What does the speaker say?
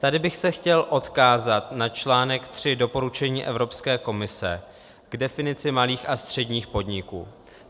Tady bych se chtěl odkázat na článek tři doporučení Evropské komise k definici malých a středních podniků.